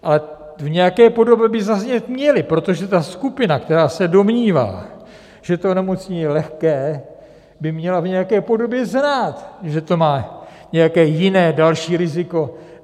Ale v nějaké podobě by zaznít měly, protože ta skupina, která se domnívá, že to onemocnění je lehké, by měla v nějaké podobě znát, že to má nějaké jiné, další riziko.